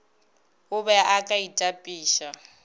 o be o ka itapiša